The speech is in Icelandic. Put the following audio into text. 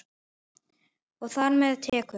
Og þar með tekjur.